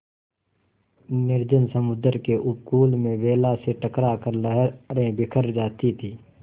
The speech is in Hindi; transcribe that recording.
निर्जन समुद्र के उपकूल में वेला से टकरा कर लहरें बिखर जाती थीं